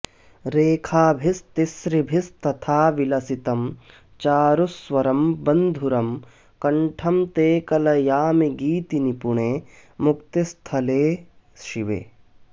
रेखाभिस्तिसृभिस्तथा विलसितं चारुस्वरं बन्धुरं कण्ठं ते कलयामि गीतिनिपुणे मुक्तिस्थलस्थे शिवे